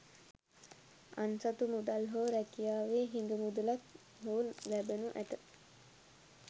අන්සතු මුදල් හෝ රැකියාවේ හිඟ මුදලක් හෝ ලැබෙනු ඇත